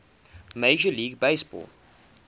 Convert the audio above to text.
major league baseball